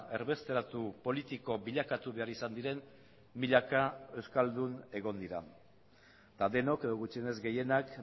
erbesteratu politiko bilakatu behar izan diren milaka euskaldun egon dira eta denok edo gutxienez gehienak